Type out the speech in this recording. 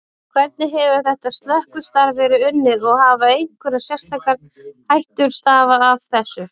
Hvernig hefur þetta slökkvistarf verið unnið og hafa einhverjar sérstakar hættur stafað af þessu?